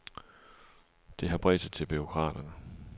Det har bredt sig til bureaukraterne.